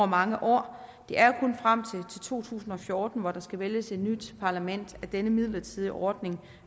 mange år det er jo kun frem til to tusind og fjorten hvor der skal vælges et nyt parlament at denne midlertidige ordning